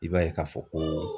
I b'a ye k'a fɔ ko